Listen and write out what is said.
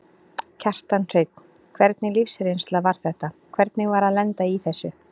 Kjartan Hreinn: Hvernig lífsreynsla var þetta, hvernig var að lenda í þessu?